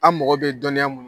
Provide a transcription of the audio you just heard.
A' mogo bɛ dɔnniya mun n